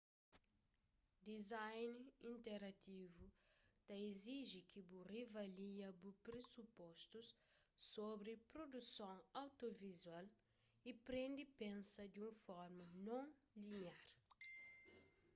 design interativu ta iziji ki bu riavalia bu presupostus sobri produson audiovizual y prende pensa di un forma non liniar